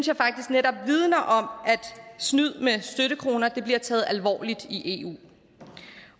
jeg faktisk netop vidner om at snyd med støttekroner bliver taget alvorligt i eu